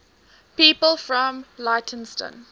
people from leytonstone